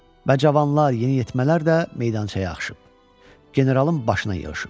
Və cavanlar, yeniyetmələr də meydançaya axışıb generalın başına yığışıb.